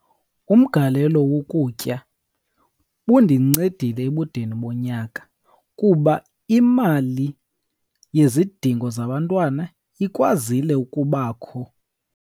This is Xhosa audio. Umgalelo wokutya undincedile ebudeni bonyaka, kuba imali yezidingo zabantwana ikwazile ukubakho.